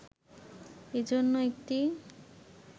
এজন্য একটি